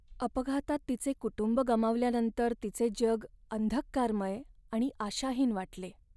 अपघातात तिचे कुटुंब गमावल्यानंतर तिचे जग अंधकारमय आणि आशाहीन वाटले.